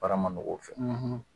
Bara ma nɔgɔ o fɛ